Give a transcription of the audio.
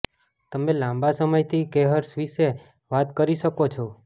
તમે લાંબા સમયથી કેહર્સ વિશે વાત કરી શકો છો